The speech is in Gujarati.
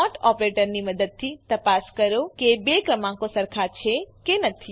નોટ ઓપરેટરની મદદથી તપાસ કરો કે બે ક્રમાંકો સરખા છે કે નથી